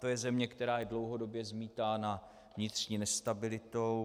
To je země, která je dlouhodobě zmítána vnitřní nestabilitou.